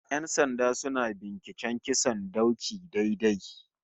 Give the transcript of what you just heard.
Yan sanda suna binciken kisan dauki ɗai-ɗai